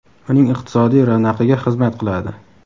uning iqtisodiy ravnaqiga xizmat qiladi.